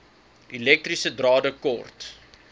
elektriese drade kort